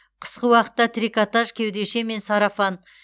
қысқы уақытта трикотаж кеудеше мен сарафан